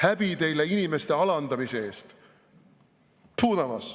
Häbi teile inimeste alandamise eest!